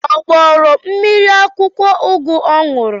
Ọ gbọrọ mmiri akwụkwọ ugu ọ ṅụrụ?